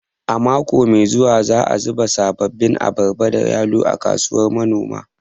A mako mai zuwa za'a baza sabbin abarba da yalo a kasuwar manoma